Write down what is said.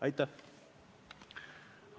Aitäh!